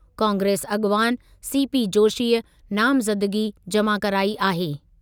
कांग्रेस अॻवान सीपी जोशीअ नामज़दगी जमा कराई आहे।